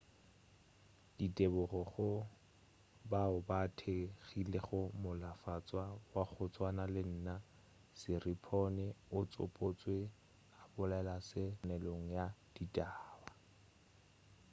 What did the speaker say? ditebogo go bao ba thekgilego molatofatšwa wa go tswana le nna siriporn o tsopotšwe a bolela se kopaneleong ya ditaba